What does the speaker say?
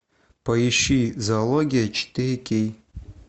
поищи зоология четыре кей